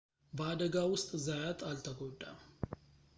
በአደጋው ውስጥ ዛያት አልተጎዳም